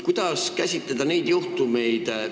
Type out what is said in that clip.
Kuidas käsitleda neid juhtumeid?